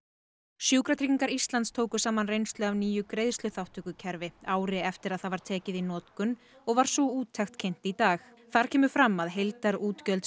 sjúkratryggingar Íslands tóku saman reynslu af nýju greiðsluþátttökukerfi ári eftir að það var tekið í notkun og var sú úttekt kynnt í dag þar kemur fram að heildarútgjöld